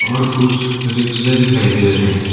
और कुछ रिक्शे दिखाई दे रहे हैं।